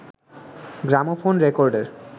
gramophone রেকর্ডের